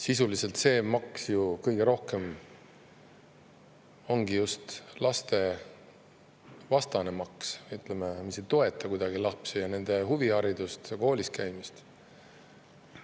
Sisuliselt see maks ju kõige rohkem ongi just lastevastane maks, mis ei toeta kuidagi lapsi ja nende huviharidust ja koolis käimist.